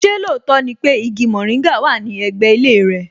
Ṣé lóòótọ́ ni pé igi mòríngà wà ní ẹ̀gbẹ́ ilé rẹ?